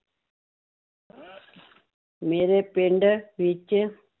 ਮੇਰੇ ਪਿੰਡ ਵਿੱਚ